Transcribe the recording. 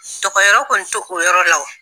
Dogo yɔrɔ kɔni to o yɔrɔ la.